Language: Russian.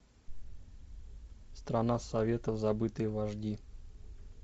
страна советов забытые вожди